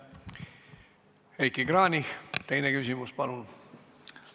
Heiki Kranich, teine küsimus, palun!